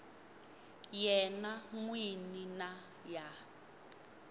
yena n wini na ya